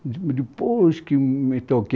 Depois que me toquei